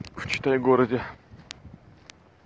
в читай городе